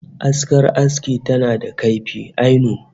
Askar aski tana da kaifi ainun